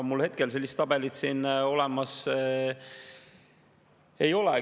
Mul hetkel sellist tabelit siin olemas ei ole.